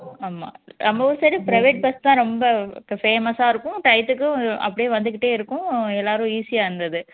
ஆமா நம்ம ஊரு side உ நிறைய private bus தான் ரொம்ப famous ஆ இருக்கும் time க்கும் அப்படியே வந்துகிட்டே இருக்கும் எல்லாரும் easy ஆ இருந்துது